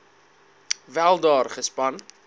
wel daar gespan